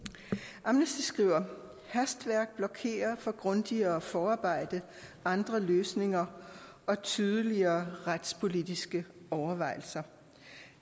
amnesty international skriver hastværk blokerer for grundigere forarbejde andre løsninger og tydeligere retspolitiske overvejelser